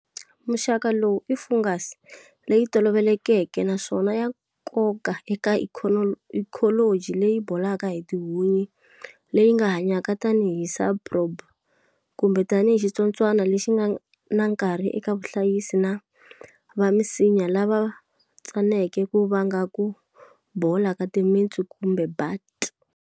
Muxaka lowu i fungus leyi tolovelekeke naswona ya nkoka eka ikholoji leyi bolaka hi tihunyi leyi nga hanyaka tani hi saprobe, kumbe tani hi xitsotswana lexi nga na nkarhi eka vahlayisi va misinya lava tsaneke ku vanga ku bola ka timintsu kumbe butt.